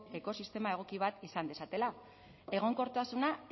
ekosistema egoki bat izan dezatela egonkortasuna